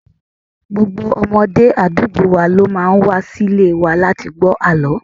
Gbogbo ọmọdé àdúgbò wa ló máa ń wa sí ilé wa láti gbó àlọ́.